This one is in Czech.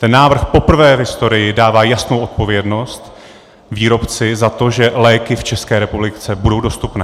Ten návrh poprvé v historii dává jasnou odpovědnost výrobci za to, že léky v České republice budou dostupné.